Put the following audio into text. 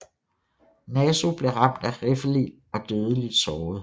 Nasu blev ramt af riffelild og dødeligt såret